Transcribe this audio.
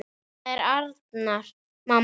Þetta er Arnar, mamma!